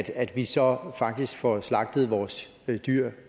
at vi så faktisk får slagtet vores dyr